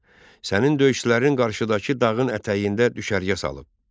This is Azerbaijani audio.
Sənin döyüşçülərin qarşıdakı dağın ətəyində düşərgə salıb.